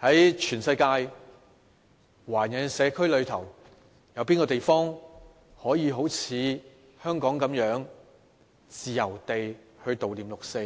在全世界的華人社區中，有哪個地方可以好像香港般自由地悼念六四，